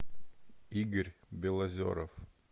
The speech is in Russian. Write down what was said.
игорь белозеров